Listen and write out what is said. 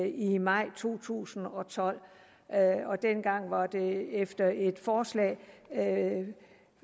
i maj to tusind og tolv og dengang var det efter et forslag